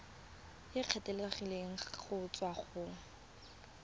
e kgethegileng go tswa go